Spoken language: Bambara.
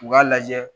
U k'a lajɛ